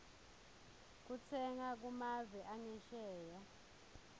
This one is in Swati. kutsenga kumave angesheya